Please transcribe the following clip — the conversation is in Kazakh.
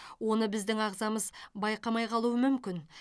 оны біздің ағзамыз байқамай қалуы мүмкін